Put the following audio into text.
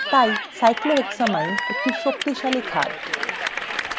তাই cyclohexylamine একটি শক্তিশালী ক্ষার